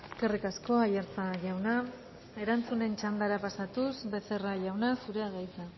eskerrik asko aiartza jauna erantzunen txandara pasatuz becerra jauna zurea da hitza